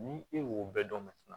Ni e y'o bɛɛ dɔn